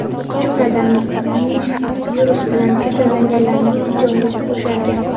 Jumladan, Minskda virus bilan kasallanganlarning joyi bo‘shagan.